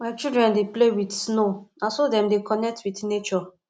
my children dey play wit snow na so dem dey connect wit nature